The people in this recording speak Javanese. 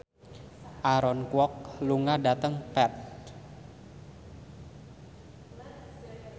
Aaron Kwok lunga dhateng Perth